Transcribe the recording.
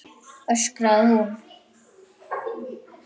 öskraði hún.